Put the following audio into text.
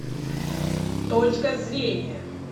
точка зрения